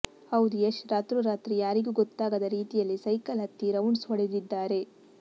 ಹೌದು ಯಶ್ ರಾತ್ರೋರಾತ್ರಿ ಯಾರಿಗೂ ಗೊತ್ತಾಗದ ರೀತಿಯಲ್ಲಿ ಸೈಕಲ್ ಹತ್ತಿ ರೌಂಡ್ಸ್ ಹೊಡೆದಿದ್ದಾರೆ